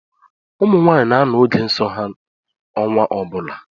Ụmụnwaanyị na-anọ n’oge nso ha ọnwa ọbụla